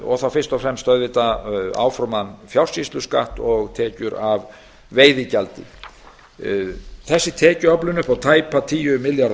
og þá fyrst og fremst auðvitað áform um fjársýsluskatt og tekjur af veiðigjaldi þessi tekjuöflun upp á tæpa tíu milljarða